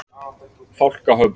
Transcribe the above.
Fálkahöfða